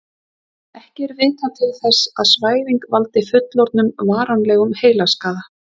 ekki er vitað til þess að svæfing valdi fullorðnum varanlegum heilaskaða